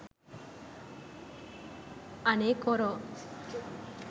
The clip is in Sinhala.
අනේ කොරෝ